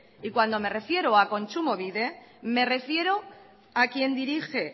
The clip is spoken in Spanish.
y cuando me refiero a kontsumobide me refiere a quien dirige